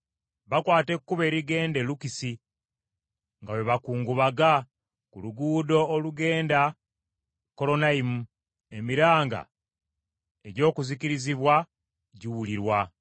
Bakwata ekkubo erigenda e Lukisi, nga bwe bakungubaga ku luguudo olugenda e Kolonayimu, emiranga egy’okuzikirizibwa giwulirwa.